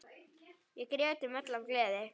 Við grétum öll af gleði.